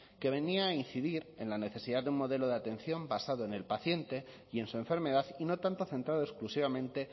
que venía a incidir en la necesidad de un modelo de atención basado en el paciente y en su enfermedad y no tanto centrado exclusivamente